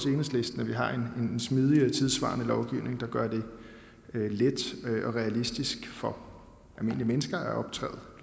enhedslisten at vi har en smidig og tidssvarende lovgivning der gør det let og realistisk for almindelige mennesker at optræde